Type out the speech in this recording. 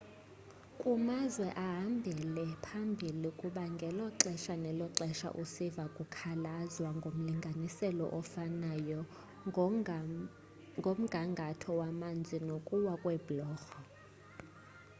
kumazwe ahambele phambili kuba ngelo xesha nelo xesha usiva kukhalazwa ngomlinganiselo ofanayo ngomgangatho wamanzi nokuwa kweebhulorho